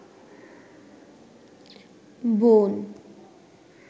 বোন